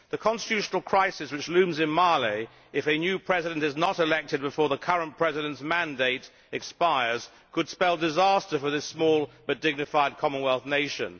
The constitutional crisis which looms in Malé if a new president is not elected before the current president's mandate expires could spell disaster for this small but dignified Commonwealth nation.